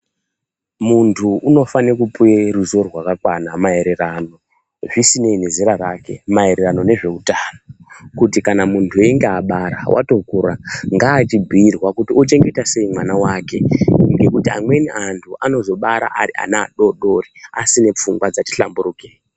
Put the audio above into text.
Muntu unofanire kupiwe ruziwo rwakakwana maererano zvisinei nezera rake maererano nezveutano kuti kana muntu einge abara watokura ngaachibhuirwa kuti ochengeta sei mwana wake ngekuti amweni antu anozobara ari ana adodori asine pfungwa dzati hlamburuke.